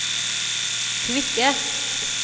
kvikke